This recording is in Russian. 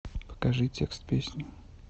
покажи текст песни